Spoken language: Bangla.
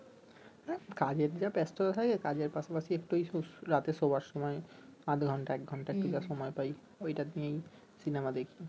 কাজের যা ব্যাস্ততা থাকে কাজের পাশাপাশি একটু ও রাতের শোবার সময় আধ ঘণ্টা এক ঘণ্টা একটু যা সময় পাই ঐ টাইমেই সিনেমা দেখি